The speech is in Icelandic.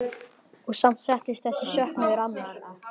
Og samt settist þessi söknuður að mér.